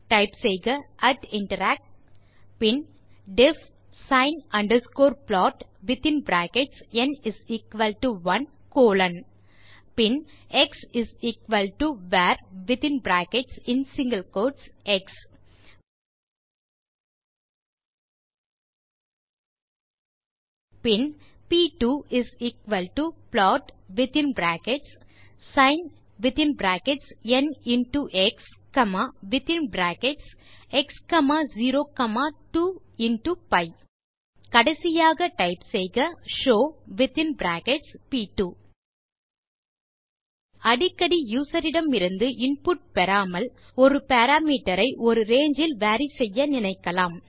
type செய்க interact பின் def sine plotந்1 பின் xvarஎக்ஸ் பின் p2plot வித்தின் பிராக்கெட்ஸ் sinnஎக்ஸ்x02பி கடைசியாக டைப் செய்க ஷோவ் அடிக்கடி யூசர் இடமிருந்து இன்புட் பெறாமல் ஒரு பாராமீட்டர் ஐ ஒரு ரங்கே இல் வேரி செய்ய நினைக்கலாம்